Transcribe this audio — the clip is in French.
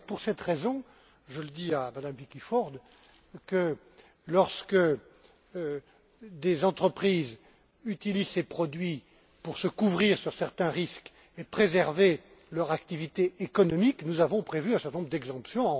C'est d'ailleurs pour cette raison je le dis à Madame Vicky Ford que, lorsque des entreprises utilisent ces produits pour se couvrir contre certains risques et préserver leur activité économique, nous avons prévu un certain nombre d'exemptions.